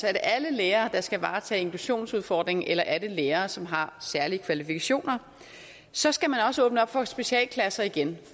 er det alle lærere der skal varetage inklusionsudfordringen eller er det lærere som har særlige kvalifikationer så skal man også åbne op for specialklasser igen